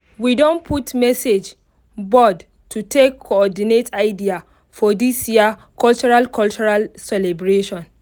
we don put message board to take coordinate idea for this year cultural cultural celebration